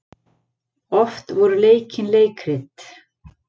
Oft voru leikin leikrit.